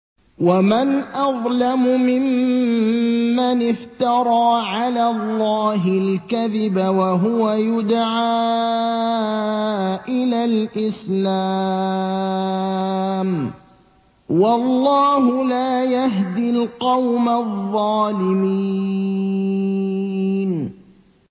وَمَنْ أَظْلَمُ مِمَّنِ افْتَرَىٰ عَلَى اللَّهِ الْكَذِبَ وَهُوَ يُدْعَىٰ إِلَى الْإِسْلَامِ ۚ وَاللَّهُ لَا يَهْدِي الْقَوْمَ الظَّالِمِينَ